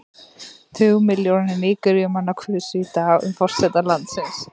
Tugmilljónir Nígeríumanna kusu í dag um forseta landsins.